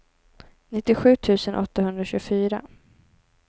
nittiosju tusen åttahundratjugofyra